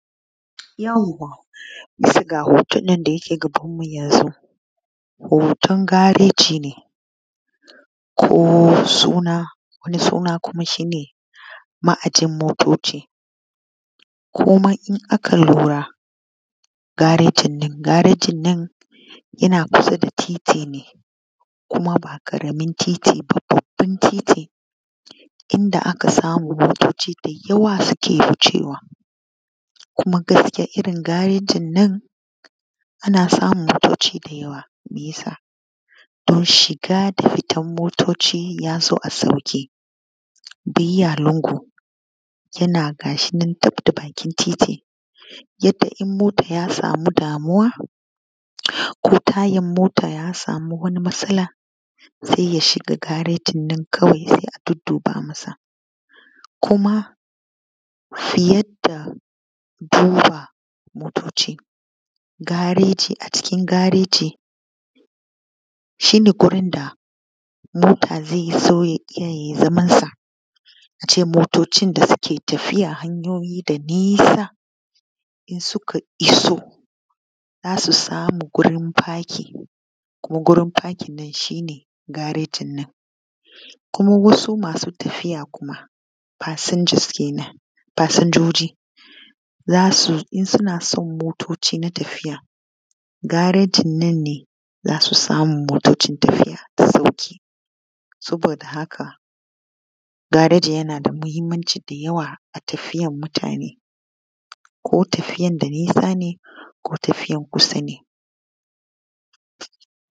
Bisa ga wa ‘yan’ nan hoton da yake gabanu mu yanzu hoton gareji ne ko wani suna kuma shine ma’ajiyan motoci. Kuma in aka lura garejinnan, garejinnan yana kusa da titi ne kuma ba ƙaramin titi ba babban titi inda motoci da yawa suke wucewa kuma gaskiya irrin garejinna ana samun motoci da yawa. Shiga da fitan motoci yazo a sauƙaƙe bayya lingu yana gashi nan gabda bakin titi yadda in mota ya samu damuwa ko tayan mota ya samu matsala sai ya shiga gareji a ƙara duddu ba masa. Kuma yadda zuwan motoci gareji, a cikin gareji shine gurin da mota zaizo yai zaman sa. Ace motocin da suke tafiya hanyoyi sa nisa in suka iso zasu samu gurin fakin kuma gurin fakin nan shine garejin nan. Kuma wasu masu tafiya kuma fasingas kenan, fasinjoji zasu in suna son motoci na tafiya, garejinnan ne zasu motocin tafiya da sauƙi saboda haka gareji yanada mahimmanci da yawa a tafiyan mutane ko tafiyan da nisa ne ko tafiyan kusa ne.